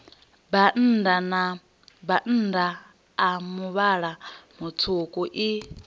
bannda a muvhala mutswuku i